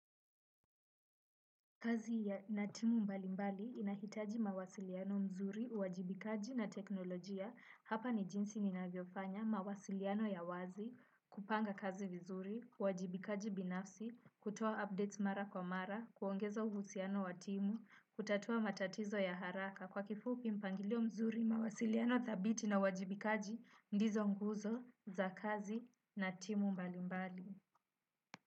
Kazi na timu mbalimbali inahitaji mawasiliano mzuri, uwajibikaji na teknolojia, hapa ni jinsi ninavyofanya, mawasiliano ya wazi, kupanga kazi vizuri, uwajibikaji binafsi, kutoa updates mara kwa mara, kuongeza uhusiano wa timu, kutatua matatizo ya haraka. Kwa kifupi mpangalio vizuri mawasiliano dhabiti na uwajibikaji ndizo nguzo za kazi na timu mbalimbali.